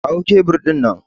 Kawo kebur ɗin nan!